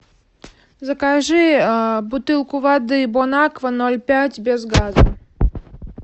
закажи бутылку воды бон аква ноль пять без газа